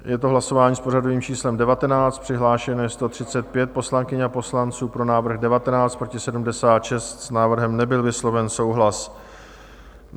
Je to hlasování s pořadovým číslem 19, přihlášeno je 135 poslankyň a poslanců, pro návrh 19, proti 76, s návrhem nebyl vysloven souhlas.